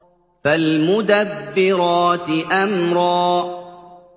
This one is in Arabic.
فَالْمُدَبِّرَاتِ أَمْرًا